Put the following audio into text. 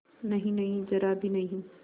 नहींनहीं जरा भी नहीं